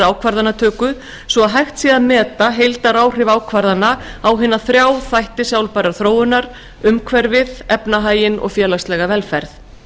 ákvarðanatöku svo að hægt sé að meta heildaráhrif ákvarðana á hina þrjá þætti sjálfbærrar þróunar umhverfisvernd efnahag og félagslega velferð